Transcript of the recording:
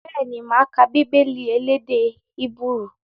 Bẹ́ẹ̀ni, máa ka Bíbélì elédè Hébérù